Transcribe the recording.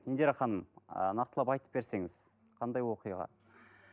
индира ханым ыыы нақтылап айтып берсеңіз қандай оқиға